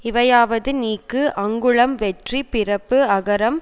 இவையாவது நீக்கு அங்குளம் வெற்றி பிறப்பு அகரம்